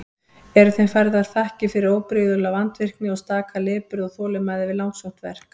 Eru þeim færðar þakkir fyrir óbrigðula vandvirkni og staka lipurð og þolinmæði við langsótt verk.